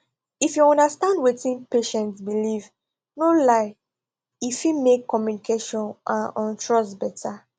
if you understand wetin patient believe no lie e fit make communication and um trust better